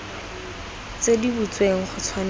tse di butsweng go tshwanetse